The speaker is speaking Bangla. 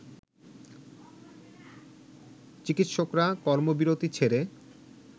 চিকিৎসকরা কর্মবিরতি ছেড়ে